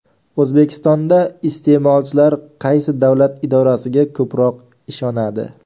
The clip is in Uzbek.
O‘zbekistonda iste’molchilar qaysi davlat idorasiga ko‘proq ishonadi?.